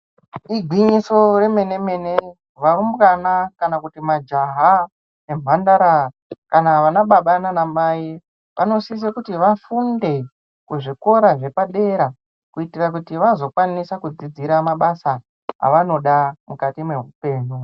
Igwinyiso remene mene varumbwana kana kuti majaha nemhandara kana vana baba nana mai vanosisa kuti vafunde kuzvikora zvepadera kuitira kuti vazokwanisa kudzidzira mabasa avanoda mukati mehupenyu.